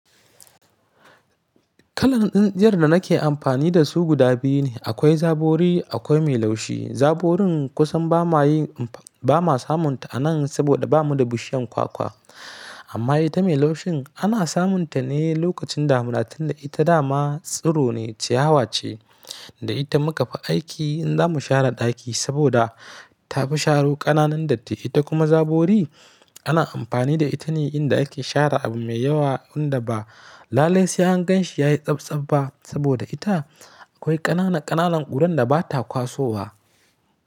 Kalan tsintsiyar da nake amfani da su guda biyu ne. Akwai zabori akwai mai laushi. Zaborin kusan ba ma yin, ba ma samun ta a nan saboda ba mu da bishiyar kwakwa. Amma ita mai laushin ana samun ta ne lokacin damuna, tunda ita dama tsiro ne, ciyawa ce. Da ita muka fi aiki in za mu share ɗaki saboda ta fi sharo ƙananan datti. Ita kuma zabori ana amfani da ita ne in da ake share abu mai yawa wanda ba lalle sai anganshi ya yi tsabtsab ba saboda ita akwai ƙanana ƙananan ƙuran da ba ta kwasowa.